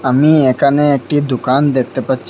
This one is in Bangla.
আমি এখানে একটি দুকান দেখতে পাচ্ছি।